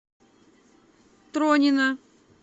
тронина